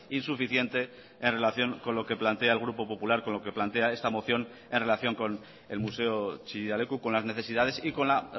insuficiente en relación con lo que plantea el grupo popular con lo que plantea esta moción en relación con el museo chillida leku con las necesidades y con la